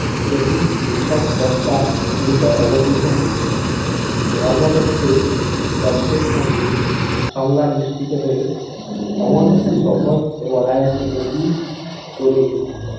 তেমনিই নিছক বক্তার ভুমিকায় অবতীর্ণ হয়েছেন। ধর্মতত্ত্ব তথ্যের সঙ্গে সংলাপ মিশ্রিত হয়ে এমন একটি সহজ ও অনায়াসিকতা গড়ে উঠেছে।